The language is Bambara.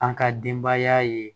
An ka denbaya ye